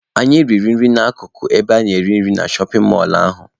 Anyị riri nri na-akụkụ ebe a na-ere nri na shọpin mọlụ ahụ.